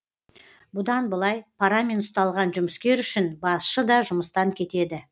бұдан былай парамен ұсталған жұмыскер үшін басшы да жұмыстан кетеді